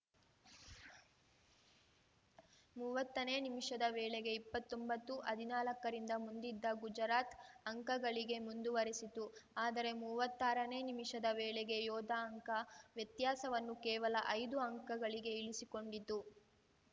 ಮೂವತ್ತನೇ ನಿಮಿಷದ ವೇಳೆಗೆ ಇಪ್ಪತ್ತೊಂಬತ್ತುಹದಿನಾಲ್ಕರಿಂದ ಮುಂದಿದ್ದ ಗುಜರಾತ್‌ ಅಂಕಗಳಿಕೆ ಮುಂದುವರಿಸಿತು ಆದರೆ ಮೂವತ್ತಾರನೇ ನಿಮಿಷದ ವೇಳೆಗೆ ಯೋಧಾ ಅಂಕ ವ್ಯತ್ಯಾಸವನ್ನು ಕೇವಲ ಐದು ಅಂಕಗಳಿಗೆ ಇಳಿಸಿಕೊಂಡಿತು